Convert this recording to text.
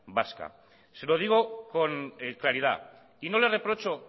vasca se lo digo con claridad y no le reprocho